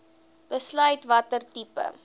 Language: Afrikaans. besluit watter tipe